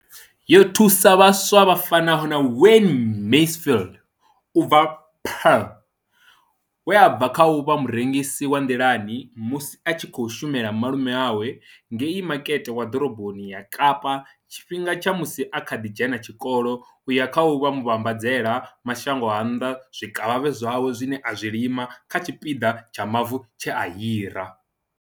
Yo thusa vhaswa vha fanaho na Wayne Mansfield u bva Paarl, we a bva kha u vha murengisi wa nḓilani musi a tshi khou shumela malume awe ngei Makete wa Ḓoroboni ya Kapa tshifhingani tsha musi a kha ḓi dzhena tshikolo u ya kha u vha muvhambadzela mashango a nnḓa zwikavhavhe zwawe zwine a zwi lima kha tshipiḓa tsha mavu tshe a hira.